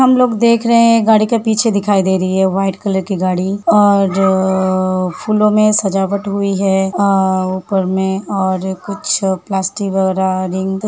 हम लोग देख रहे हैं। एक गाड़ी के पीछे दिखाई दे रही है। व्हाइट कलर की गाड़ी और जो फूलों में सजावट हुई है और ऊपर में और कुछ प्लास्टिक वगेरा रिंग --